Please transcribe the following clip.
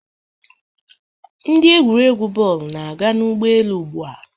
Ndị egwuregwu bọọlụ na-aga n'ụgbọelu ugbua